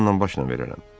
Canla başla verərəm.